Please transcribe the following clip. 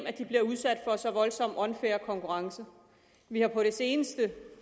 at de bliver udsat for en så voldsom og unfair konkurrence vi har på det seneste